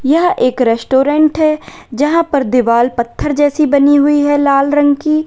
यह एक रेस्टोरेंट है यहां पर दीवाल पत्थर जैसी बनी हुई है लाल रंग की।